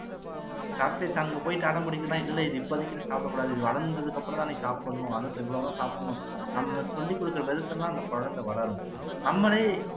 chocolate அங்க போயி அடம் புடிக்குதுன்னா இது இல்லை இப்போதைக்கு இது சாப்பிடக்கூடாது இது வளந்ததுக்கு அப்பறமா தான் நீ சாப்பிடணும் சாப்பிடணும் நம்ம சொல்லிக் கொடுகுற விதத்துல தான் அந்த கொழந்தை வளரும் நம்மளே